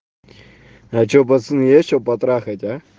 а что пацаны есть что потрахать а